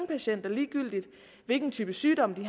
patienter ligegyldigt hvilken type sygdomme de